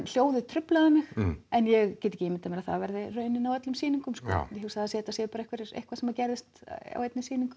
hljóðið truflaði mig en ég get ekki ímyndað mér að það verði raunin á öllum sýningum hugsa að þetta sé bara eitthvað sem gerðist á einni sýningu